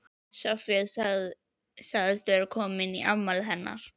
Soffía sagðist vera komin í afmælið hennar